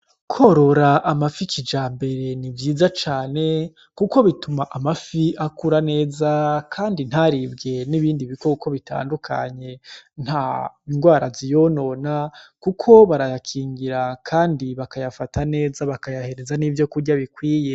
Kworora amafi kijambere ni vyiza cane kuko bituma amafi akura neza kandi ntaribwe n'ibindi bikoko bitandukanye. Nta ngwara ziyonona kuko barayakingira kandi bakayafata neza, bakayahereza n'ivyo kurya bikwiye.